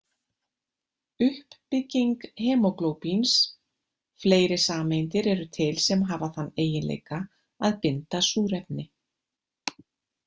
Uppbygging hemóglóbíns Fleiri sameindir eru til sem hafa þann eiginleika að binda súrefni.